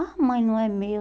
Ah, mãe, não é meu.